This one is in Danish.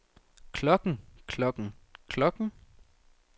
klokken klokken klokken